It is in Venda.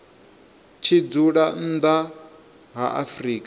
tshi dzula nnḓa ha afrika